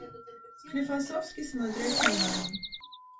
склифосовский смотреть онлайн